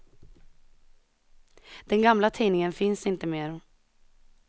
Den gamla tidningen finns inte mer.